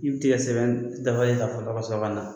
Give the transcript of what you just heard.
I bɛ tigɛ sɛnɛ dafalen ta dɔ kasɔrɔ kana